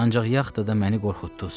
Ancaq yaxtada da məni qorxutdunuz.